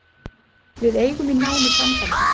Við eigum í nánu sambandi